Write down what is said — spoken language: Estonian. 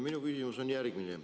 Minu küsimus on järgmine.